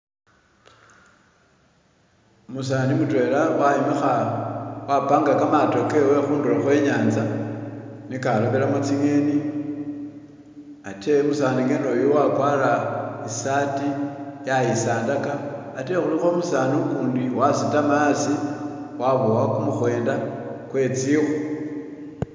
Umusani mutwela wayombekha wapaga kamaato kewe khunduro khwenytsa nekalobelamo tsingeeni atee musani gana oyu wakwara saati yayisandaka atee khuliko umusani ukundi wasitama hasi wabuwa [?] kwezikhu.